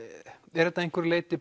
er þetta að einhverju leyti